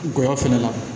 Ngɔyɔ fɛnɛ la